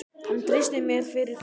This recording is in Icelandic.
Hann treysti mér fyrir þeim.